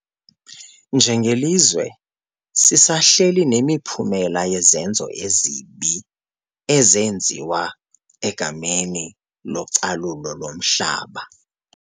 Njengelizwe sisahleli nemiphumela yezenzo ezibi ezenziwa egameni localulo lomhlaba.